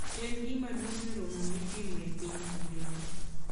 En gima duong' e romo ma itimo e piny mangima.